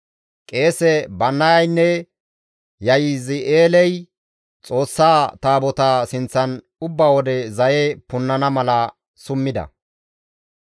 Qeese Bannayaynne Yahazi7eeley Xoossaa Taabotaa sinththan ubba wode zaye punnana mala summida.